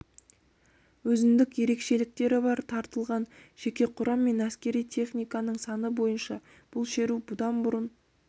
өзіндік ерекшеліктері бар тартылған жеке құрам мен әскери техниканың саны бойынша бұл шеру бұдан бұрын